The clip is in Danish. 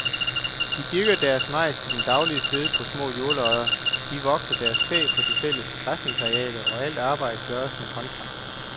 De dyrker deres majs til den daglige føde på små jordlodder, de vogter deres kvæg på de fælles græsningsarealer, og alt arbejdet gøres med håndkraft.